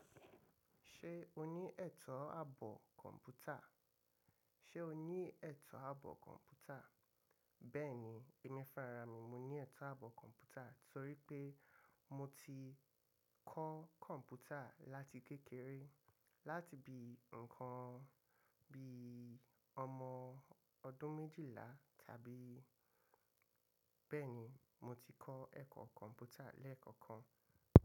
Ṣé o ní ẹ̀tọ́ àbọ̀ kọ̀m̀pútà? Ṣé o ní ẹ̀tọ́ àbọ̀ kọ̀m̀pútà? Bẹ́ẹ̀ni, èmi farami mo ní ẹ̀tọ́ àbọ̀ kọ̀m̀pútà torí pé mo ti kọ kọ̀m̀pútà láti kékeré láti bí nǹkan bí i ọmọ ọdún méjìlá tàbí bẹ́ẹ̀ni mo ti kọ ẹ̀kọ́ kọ̀m̀pútà lẹ́ẹ̀kọ̀kan.